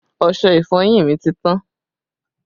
Ọṣẹ ìfọyín mi ti tán